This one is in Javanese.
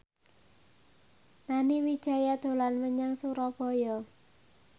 Nani Wijaya dolan menyang Surabaya